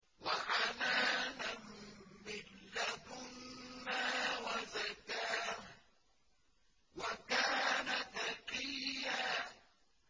وَحَنَانًا مِّن لَّدُنَّا وَزَكَاةً ۖ وَكَانَ تَقِيًّا